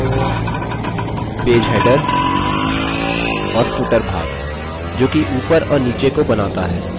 page header और footer page जो कि ऊपर और नीचे को बनाता है